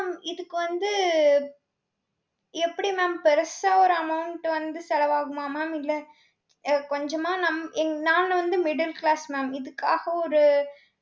mam இதுக்கு வந்து எப்படி mam பெருசா ஒரு amount வந்து செலவாகுமா mam இல்லை அஹ் கொஞ்சமா நம் எங்~ நாங்க வந்து middle class ma'am. இதுக்காக ஒரு